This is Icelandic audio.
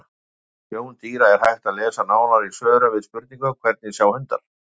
Um sjón dýra er hægt að lesa nánar í svörum við spurningunum: Hvernig sjá hundar?